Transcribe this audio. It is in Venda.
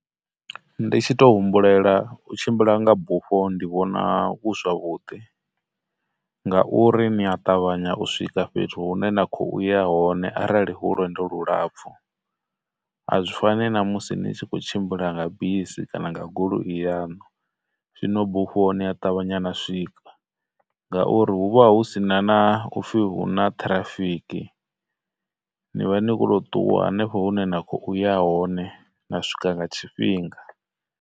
Ndi tshi tou humbulela, u tshimbila nga bufho ndi vhona hu zwavhuḓi ngauri ni a ṱavhanya u swika fhethu hune na khou ya hone arali hu lwendo lulapfhu, a zwi fani na musi ni tshi khou tshimbila nga bisi kana nga goloi yaṋu. Zwino bufho ni a ṱavhanya na swika ngauri hu vha hu sina na upfhi huna traffic, ni vha ni khou to ṱuwa hanefho hune na khou ya hone na swika nga tshifhinga.